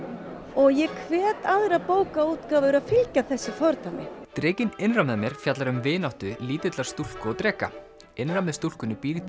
og ég hvet aðrar bókaútgáfur að fylgja þessu fordæmi drekinn innra með mér fjallar um vináttu lítillar stúlku og dreka innra með stúlkunni býr